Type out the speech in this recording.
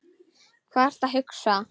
Hvað ertu að hugsa?